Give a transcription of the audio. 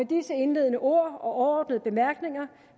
disse indledende ord og overordnede bemærkninger